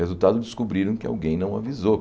Resultado, descobriram que alguém não avisou.